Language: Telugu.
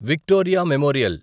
Victoria memorial